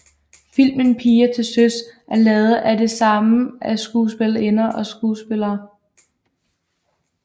Filmen Piger til Søs er lavet af det samme af skuespillerinder og skuespillere